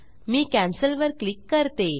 मी cancel cancel वर click करते